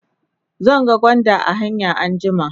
zan ga gwanda a hanya anjima